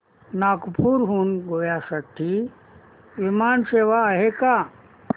नागपूर हून गोव्या साठी विमान सेवा आहे का